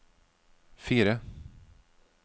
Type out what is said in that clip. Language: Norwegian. fire